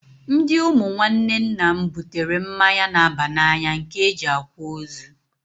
Ndị ụmụ nwanne nna m butere mmanya na-aba n'anya nke e ji akwa ozu.